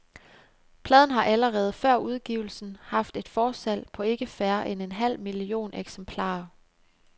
Pladen har, allerede før udgivelsen haft et forsalg på ikke færre end en halv million eksemplarer.